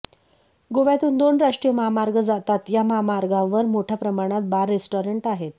गोव्यातून दोन राष्ट्रीय महामार्ग जातात या महामार्गावर मोठय़ा प्रमाणात बार रेस्टॉरंट आहेत